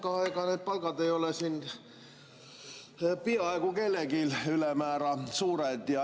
Noh, ega need palgad ei ole siin peaaegu kellelgi ülemäära suured.